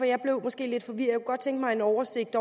jeg blev måske lidt forvirret godt tænke mig en oversigt